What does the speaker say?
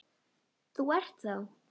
Þú ert þá?